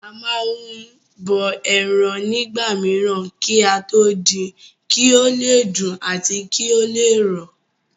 A má n bọ ẹran nígbà mìíràn kí á tó din kí ó le dùn àti kí ó le rọ̀